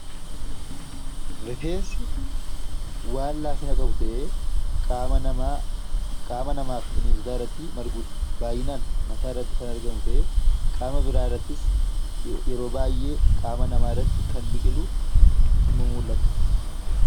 Rifeensi wanta laafina qabu ta'ee qaama namaa fi bineensotaa irratti marguu danda'a. Baay'inaan mataa iraatti kan argamu ta'ee qaama biraa irrattis yeroo baay'ee qaama namaa irratti kan biqilu ni mul'ata.